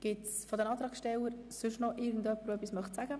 Gibt es seitens der Antragsteller noch jemanden, der etwas sagen möchte?